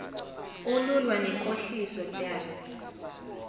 olulwa nenkohliso daf